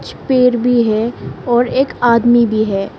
कुछ पेड़ भी है और एक आदमी भी है।